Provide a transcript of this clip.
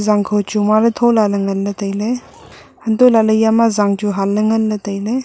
zangkho chu mua ley thola ley ngan ley tai ley hantoh lah ley eya ma zang chu han ley tai ley.